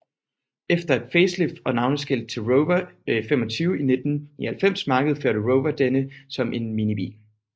Efter et facelift og navneskift til Rover 25 i 1999 markedsførte Rover denne som en minibil